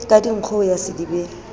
ka dinkgo ho ya sedibeng